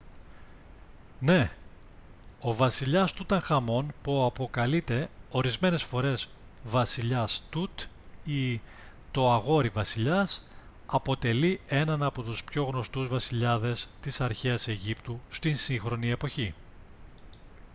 ναι! ο βασιλιάς τουταγχαμών που αποκαλείται ορισμένες φορές «βασιλιάς τουτ» ή «το αγόρι-βασιλιάς» αποτελεί έναν από τους πιο γνωστούς βασιλιάδες της αρχαίας αιγύπτου στη σύγχρονη εποχή